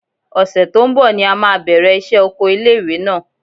Ọ̀sẹ̀ tó ń bọ̀ ni a máa bẹ̀rẹ̀ iṣẹ́ oko ilé ìwé náà.